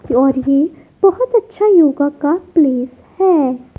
और ये बहोत अच्छा योगा का प्लेस है।